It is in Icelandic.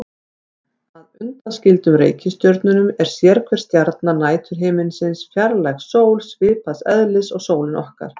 Að undanskildum reikistjörnunum er sérhver stjarna næturhiminsins fjarlæg sól, svipaðs eðlis og sólin okkar.